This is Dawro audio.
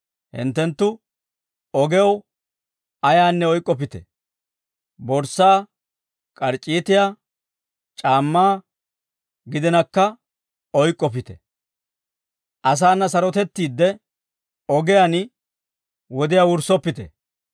Hinttenttu ogew ayaanne oyk'k'oppite: borssaa, k'arc'c'iitiyaa, c'aammaa, gidinakka oyk'k'oppite; asaana sarotettiidde ogiyaan wodiyaa wurssoppite.